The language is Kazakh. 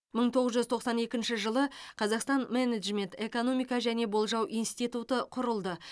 мың тоғыз жүз тоқсан екінші жылы қазақстан менеджмент экономика және болжау институты құрылды